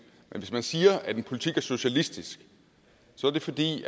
men hvis man siger at en politik er socialistisk så er det fordi